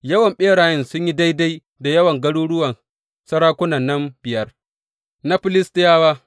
Yawan ɓerayen sun yi daidai da yawan garuruwan sarakunan nan biyar na Filistiyawa.